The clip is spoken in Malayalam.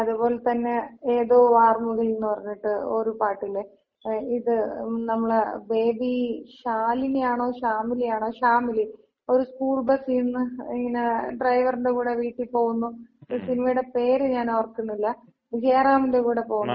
അത് പോലതന്നെ, ഏതോ വാർമുകിലിൻന്ന് പറഞ്ഞിട്ട് ഒരു പാട്ടില്ലേ? ഇത് നമ്മള ബേബി ശാലിനിയാണോ ശ്യാമിലിയാണോ. ശാമിലി. ഒര് സ്കൂൾ ബസിന്ന് ഇങ്ങനെ ഡ്രൈവറിന്‍റെ കൂടെ വീട്ടി പോകുന്നു. ആ സിനിമേടെ പേര് ഞാൻ ഓർക്കുന്നില്ല. ജയറാമിന്‍റെ കൂടെ പോണ.